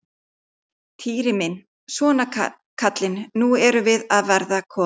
Týri minn, svona kallinn, nú erum við að verða komin.